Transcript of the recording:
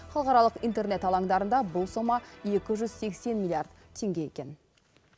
халықаралық интернет алаңдарында бұл сома екі жүз сексен миллиард теңге екен